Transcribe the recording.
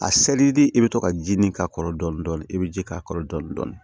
A seli de i bɛ to ka ji nin k'a kɔrɔ dɔɔnin dɔɔnin i bɛ ji k'a kɔrɔ dɔɔnin dɔɔnin